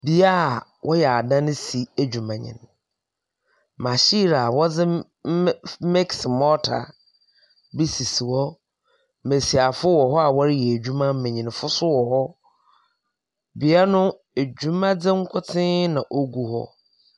Beaeɛ a wɔyɛ adansi adwuma ni. Mahyin a wɔde miksi mɔta bi sisi hɔ. Mmesiafo wɔhɔ a wɔreyɛ adwuma, mmenyinfo so wɔhɔ. Beaeɛ no adwuma di nkotee na ogu hɔ.